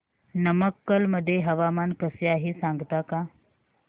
नमक्कल मध्ये हवामान कसे आहे सांगता का